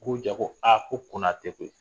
Ko ja ko aa ko kɔna tɛ koyi